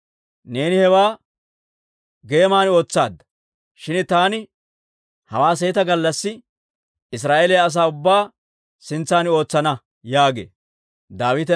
Neeni hewaa geeman ootsaadda; shin taani hawaa seeta gallassi Israa'eeliyaa asaa ubbaa sintsan ootsana› yaagee» yaageedda.